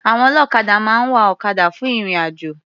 Àwọn ọlọ́kadà máa ń wa ọ̀kadà fún ìrìn-àjò.